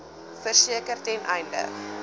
verseker ten einde